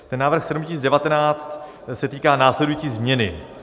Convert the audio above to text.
Ten návrh 7019 se týká následující změny.